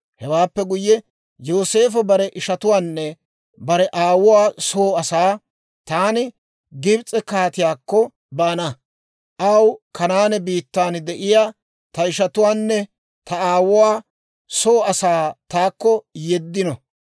Hewaappe guyye, Yooseefo bare ishatuwaanne bare aawuwaa soo asaa, «Taani Gibs'e kaatiyaakko baana; aw, ‹Kanaane biittan de'iyaa ta ishatuwaanne ta aawuwaa soo Asay taakko yeeddino.